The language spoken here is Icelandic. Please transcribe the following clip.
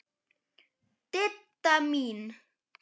Didda mín.